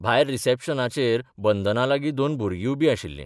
भायर रिसेप्शनाचेर बंदनालागीं दोन भुरगीं उबीं आशिल्ली.